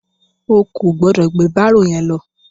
O ò gbọdọ̀ gbé bárò yẹn lọ.